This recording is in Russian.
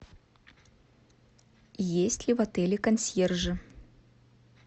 есть ли в отеле консьержи